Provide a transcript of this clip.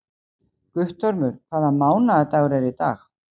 Guttormur, hvaða mánaðardagur er í dag?